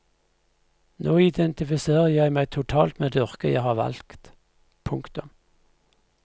Nå identifiserer jeg meg totalt med det yrket jeg har valgt. punktum